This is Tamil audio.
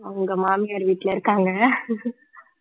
அவங்க மாமியார் வீட்டுல இருக்காங்க